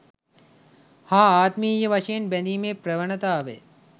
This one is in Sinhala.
හා ආත්මීය වශයෙන් බැඳීමේ ප්‍රවණතාවය